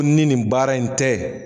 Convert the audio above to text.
Ko ni nin baara in tɛ.